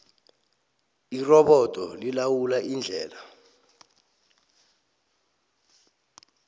irobodo lilawula indlela